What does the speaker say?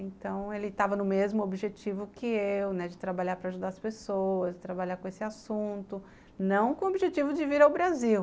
Então ele estava no mesmo objetivo que eu, né, de trabalhar para ajudar as pessoas, de trabalhar com esse assunto, não com o objetivo de vir ao Brasil.